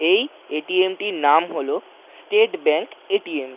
এই এ.টি.এম. -টির নাম হলো স্টেট ব্যাঙ্ক এ.টি.এম. .